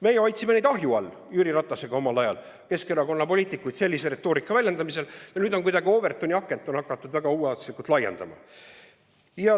Meie hoidsime neid omal ajal Jüri Ratasega ahju all, Keskerakonna poliitikuid sellise retoorika kasutamise puhul, aga nüüd on kuidagi Overtoni akent hakatud väga ulatuslikult laiendama.